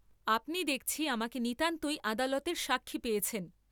আপনি দেখছি আমাকে নিতান্তই আদালতের সাক্ষী পেয়েছেন।